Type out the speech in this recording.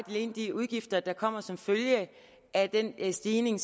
de udgifter der kommer som følge af den stigning